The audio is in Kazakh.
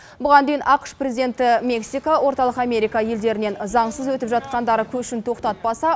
бұған дейін ақш президенті мексика орталық америка елдерінен заңсыз өтіп жатқандар көшін тоқтатпаса